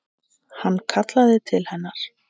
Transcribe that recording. Hann kallaði til hennar.